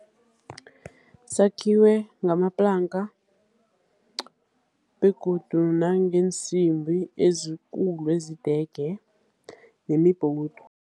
Sakhiwe ngamaplanka, begodu nangeensimbi ezikulu ezidege, namibhowudu.